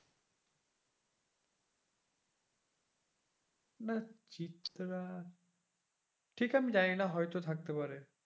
নাহ চিত্রা ঠিক আমি জানিনা হয়তো থাকতে পারে।